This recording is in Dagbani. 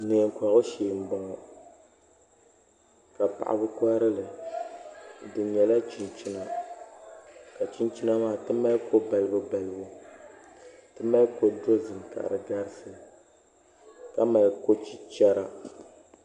Neen kohagu shee n boŋɔ ka paɣaba koharili di nyɛla chinchina ka chinchina maa ti mali ko balibu balibu ti mali ko dozim ka di garisi ka mali ko chichɛra